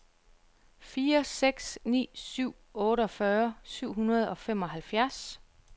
fire seks ni syv otteogfyrre syv hundrede og femoghalvfjerds